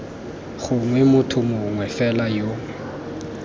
gongwe motho mongwe fela yo